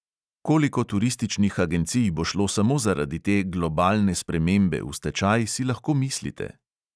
Koliko turističnih agencij bo šlo samo zaradi te "globalne spremembe" v stečaj, si lahko mislite.